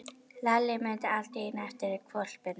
Lalli mundi allt í einu eftir hvolpinum.